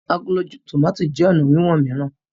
Àgòló tomato jé ọnà wiwọn mìíràn.